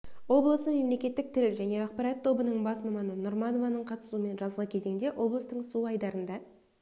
облысы мемлекеттік тіл және ақпарат тобының бас маманы нұрманованың қатысуымен жазғы кезеңде облыстың су айдындарында